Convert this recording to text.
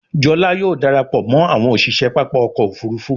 Jola yóò darapọ̀ mọ àwọn òṣiṣẹ pápá ọkọ̀-òfurufú.